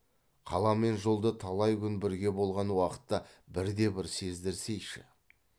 қала мен жолда талай күн бірге болған уақытта бірде бір сездірсейші